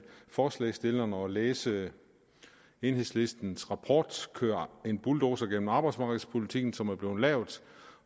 forslagsstillerne at læse enhedslistens rapport kør en bulldozer gennem arbejdsmarkedspolitikken som er blevet lavet